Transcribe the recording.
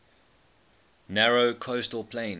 narrow coastal plain